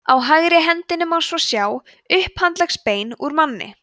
á hægri myndinni má svo sjá upphandleggsbein úr manni